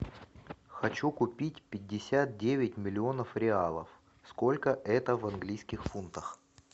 хочу купить пятьдесят девять миллионов реалов сколько это в английских фунтах